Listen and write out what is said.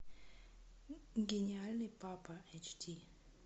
гениальный папа эйч ди